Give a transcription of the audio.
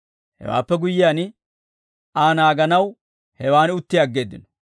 Hewaappe guyyiyaan, Aa naaganaw hewaan utti aggeeddino.